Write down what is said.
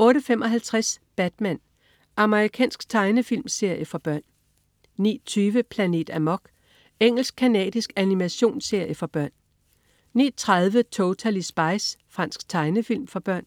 08.55 Batman. Amerikansk tegnefilmserie for børn 09.20 Planet Amok. Engelsk-canadisk animationsserie for børn 09.30 Totally Spies. Fransk tegnefilm for børn